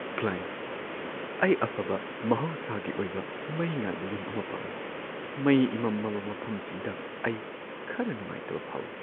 Client : "ꯑꯩ ꯑꯐꯕ ꯃꯍꯧꯁꯥꯒꯤ ꯑꯣꯏꯕ ꯃꯩ ꯉꯥꯟꯕ ꯌꯨꯝ ꯑꯃ ꯄꯥꯝꯃꯤ; ꯃꯩ ꯏꯃꯝ ꯃꯝꯕ ꯃꯐꯝꯁꯤꯡꯗ ꯑꯩ ꯈꯔ ꯅꯨꯡꯉꯥꯢꯇꯕ ꯐꯥꯎꯏ" ꯫